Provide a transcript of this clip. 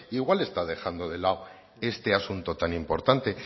igual está dejando de lado este asunto tan importante